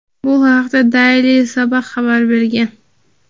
Bu haqda "Daily Sabah" xabar bergan.